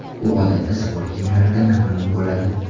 U odatda sport kiyimlarida namoyon bo‘ladi.